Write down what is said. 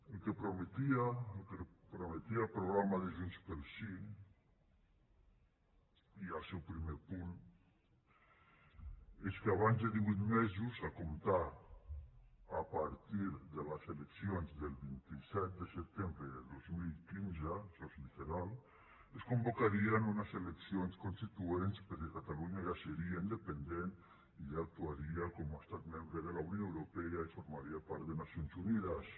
el que prometia el programa de junts pel sí ja al seu primer punt és que abans de divuit mesos a comptar a partir de les eleccions del vint set de setembre de dos mil quinze això és literal es convocarien unes eleccions constituents perquè catalunya ja seria independent i ja actuaria com a estat membre de la unió europea i formaria part de nacions unides